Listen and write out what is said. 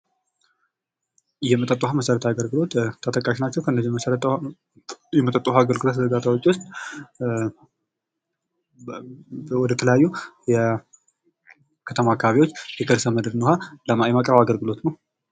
የመጠጥ ውሃ መሠረታዊ አገልግሎት ተጠቃሽ ናቸው ከነዚህ ከነዚህ የመጠጥ ውሃዎች ውስጥ ወደተለያዩ የከተማ አካባቢዎች የከርሠምድርን ውሃ የማቅረብ አገልግሎት ነው